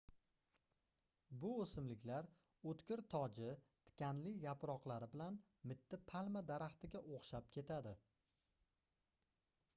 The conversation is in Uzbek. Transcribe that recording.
bu oʻsimliklar oʻtkir toji tikanli yaproqlari bilan mitti palma daraxtiga oʻxshab ketadi